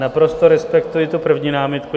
Naprosto respektuji tu první námitku.